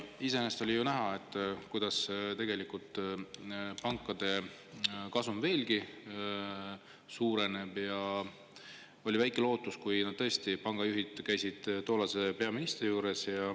Iseenesest oli näha, kuidas pankade kasum veelgi suurenes, ja oli ka väike lootus, kui pangajuhid käisid tollase peaministri juures.